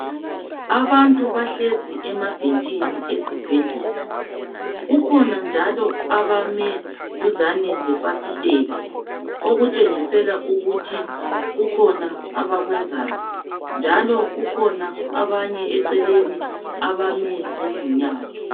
Abantu bahlezi emabhentshini esibhedlela, kukhona njalo abame duzane lefasitela okutshengisela ukuthi kukhona abakwenzayo njalo kukhona abanye eceleni abame ngezinyawo.